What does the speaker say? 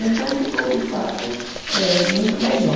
Então ficou de fato eh muito melhor.